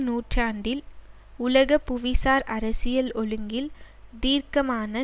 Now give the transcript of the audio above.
நூற்றாண்டில் உலக புவிசார் அரசியல் ஒழுங்கில் தீர்க்கமான